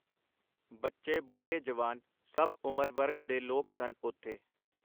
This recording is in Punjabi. ਬੱਚੇ , ਬੁੱਢੇ ਜਵਾਨ ਸਭ ਉਮਰ ਵਰਗ ਦੇ ਲੋਕ ਸਨ ਓਥੇ .